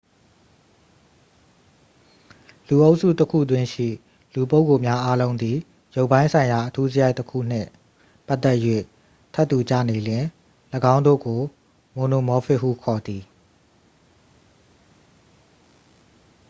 လူအုပ်စုတစ်ခုတွင်းရှိ လူပုဂ္ဂိုလ်များအားလုံးသည် ရုပ်ပိုင်းဆိုင်ရာ အထူးစရိုက်တစ်ခူနှင့် ပတ်သက်၍ ထပ်တူကျနေလျှင် ၎င်းတို့ကို မိုနိုမောဖစ် ဟုခေါ်သည်